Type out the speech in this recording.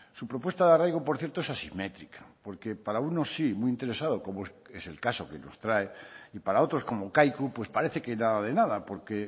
su propuesta de arraigo por cierto es asimétrica porque para unos sí muy interesado como es el caso que nos trae y para otros como kaiku pues parece que nada de nada porque